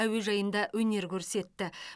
әуежайында өнер көрсетті